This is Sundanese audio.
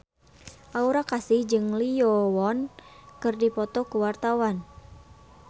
Aura Kasih jeung Lee Yo Won keur dipoto ku wartawan